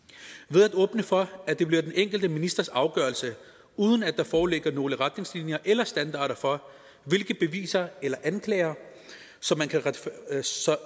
ved at åbne for at det bliver den enkelte ministers afgørelse uden at der foreligger nogen retningslinjer eller standarder for hvilke beviser eller anklager som